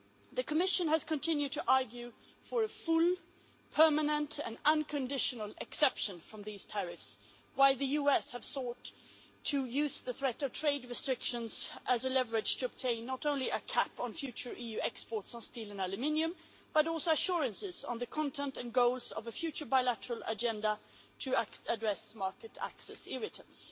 The Commission has continued to argue for a full, permanent and unconditional exemption from these tariffs while the US has sought to use the threat of trade restrictions as leverage to obtain not only a cap on future EU exports on steel and aluminium but also assurances on the content and goals of a future bilateral agenda to address market access irritants.